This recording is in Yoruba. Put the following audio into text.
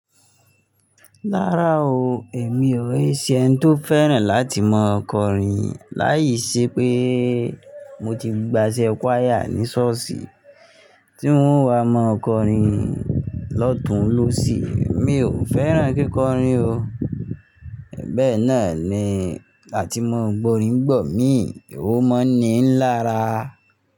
Rárá o, èmi ò n se ẹni tó fẹ́ràn láti máa kọrin. Láì ṣe pé mo ti gbaṣẹ́ kuaya ní ṣọ́ọ̀ṣì tí wo n wá mọ kọrin lọ́tun lóṣi. Mi ò fẹ́ràn kíkọrin o. Bẹ́ẹ̀ náà ni láti máa gbọ́rin n gba míi, òun máa ni ń lára.